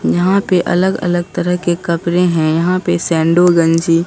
यहां पे अलग अलग तरह के कपड़े हैं यहां पे गंजी--